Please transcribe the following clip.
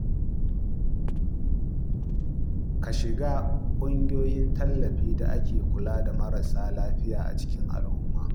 Ka shiga ƙungiyoyin tallafi da ke kula da marasa lafiya a cikin al’umma.